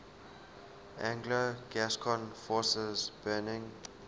anglo gascon forces burning